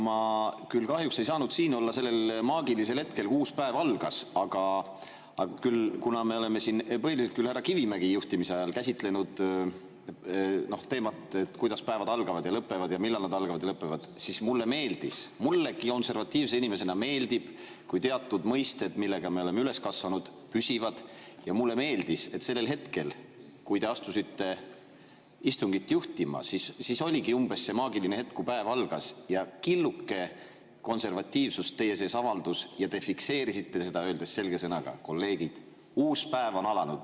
Ma kahjuks ei saanud siin olla sel maagilise hetkel, kui uus päev algas, aga kuna me oleme siin põhiliselt küll härra Kivimägi juhtimise ajal käsitlenud teemat, et kuidas päevad algavad ja lõpevad ja millal nad algavad ja lõpevad, siis ütlen, et mulle konservatiivse inimesena meeldib, kui teatud mõisted, millega me oleme üles kasvanud, püsivad, ja mulle meeldis, et sellel hetkel, kui te asusite istungit juhtima, kui oligi umbes see maagiline hetk, et päev algas, siis killuke konservatiivsust teie sees avaldus ja te fikseerisite selle, öeldes selge sõnaga, et, kolleegid, uus päev on alanud.